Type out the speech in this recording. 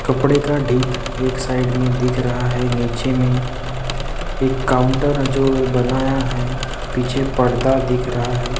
कपड़े का डेक एक साइड मे दिख रहा है नीचे में एक काउंटर है जो बनाया है पीछे पर्दा दिख रहा है।